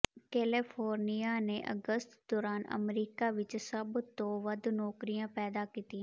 ਕੈਲੇਫੋਰਨੀਆ ਨੇ ਅਗਸਤ ਦੌਰਾਨ ਅਮਰੀਕਾ ਵਿਚ ਸਭ ਤੋਂ ਵੱਧ ਨੌਕਰੀਆਂ ਪੈਦਾ ਕੀਤੀਆਂ